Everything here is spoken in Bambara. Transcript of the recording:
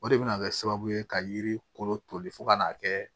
O de bɛna kɛ sababu ye ka yiri kolo toli fo ka n'a kɛ